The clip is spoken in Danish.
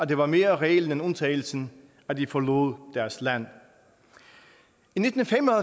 det var mere reglen end undtagelsen at de forlod deres land i nitten fem og